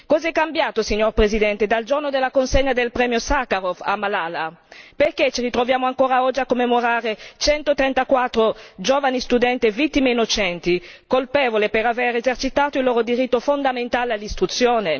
Cosa è cambiato, signor Presidente, dal giorno della consegna del Premio Sakharov a Malala, perché ci ritroviamo ancora oggi a commemorare 134 giovani studenti e vittime innocenti, colpevoli di avere esercitato il loro diritto fondamentale all'istruzione?